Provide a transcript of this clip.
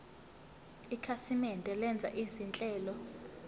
ikhasimende lenza izinhlelo